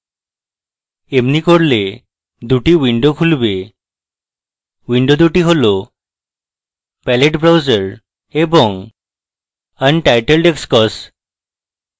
এমনি করলে দুটি windows খুলবে windows দুটি হল palette browser এবং untitledxcos